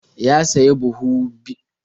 Ya sayi buhu biyu na gurjiya a kan naia dubu uku.